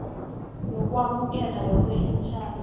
lokwamukela yoke imitjhado